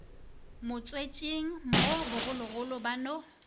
motswetšing mo bogologolo ba no